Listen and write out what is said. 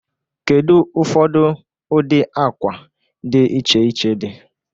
Kedu ụfọdụ ụdị akwa dị iche iche dị?